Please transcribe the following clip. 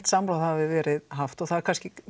samráð hafi verið haft og það er kannski